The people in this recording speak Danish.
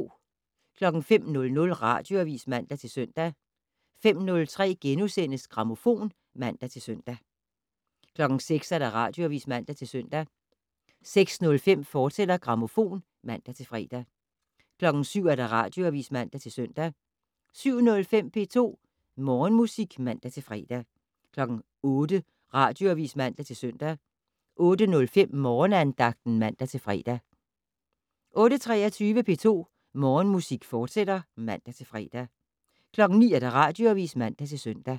05:00: Radioavis (man-søn) 05:03: Grammofon *(man-søn) 06:00: Radioavis (man-søn) 06:05: Grammofon, fortsat (man-fre) 07:00: Radioavis (man-søn) 07:05: P2 Morgenmusik (man-fre) 08:00: Radioavis (man-søn) 08:05: Morgenandagten (man-fre) 08:23: P2 Morgenmusik, fortsat (man-fre) 09:00: Radioavis (man-søn)